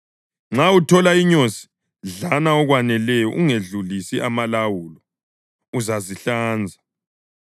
Nxa uthole inyosi, dlana okwaneleyo ungedlulisi amalawulo, uzazihlanza.